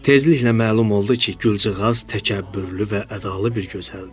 Tezliklə məlum oldu ki, gülcığaz təkəbbürlü və ədalı bir gözəldir.